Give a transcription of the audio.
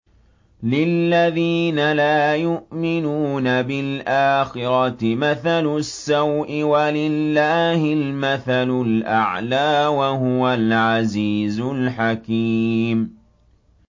لِلَّذِينَ لَا يُؤْمِنُونَ بِالْآخِرَةِ مَثَلُ السَّوْءِ ۖ وَلِلَّهِ الْمَثَلُ الْأَعْلَىٰ ۚ وَهُوَ الْعَزِيزُ الْحَكِيمُ